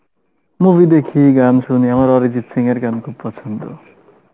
movie দেখি গান শুনি আমার অরিজিত সিং এর গান খুব পছন্দ